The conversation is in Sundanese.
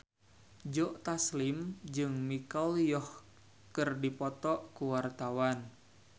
Joe Taslim jeung Michelle Yeoh keur dipoto ku wartawan